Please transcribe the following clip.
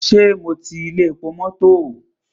Ṣé mo ti ilé epo mọ́tọ̀?